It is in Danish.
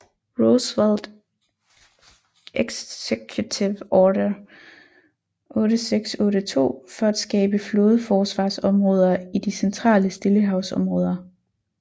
Roosevelt Executive order 8682 for at skabe flådeforsvarsområder i de centrale Stillehavsområder